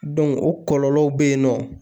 o kɔlɔlɔw bɛ yen nɔ